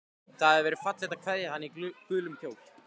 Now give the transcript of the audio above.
Það hafði verið fallegt að kveðja hana í gulum kjól.